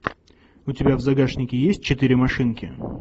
у тебя в загашнике есть четыре машинки